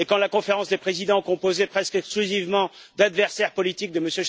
Or, quand la Conférence des présidents, composée presque exclusivement d'adversaires politiques de M.